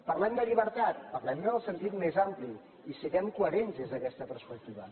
parlem de llibertat parlem ne en el sentit més ampli i siguem coherents des d’aquesta perspectiva